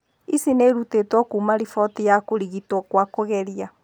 Ici nĩ irutĩtwo kuuma riboti ya kũrigitwo kwa kũgeria.